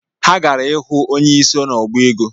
Ha gara ihu onyeisi n’ọbaego